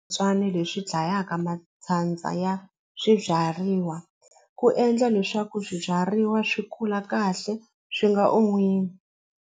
leswi dlayaka ya swibyariwa ku endla leswaku swibyariwa swi kula kahle swi nga .